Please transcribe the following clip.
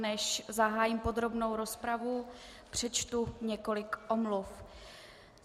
Než zahájím podrobnou rozpravu, přečtu několik omluv.